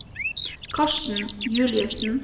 Karsten Juliussen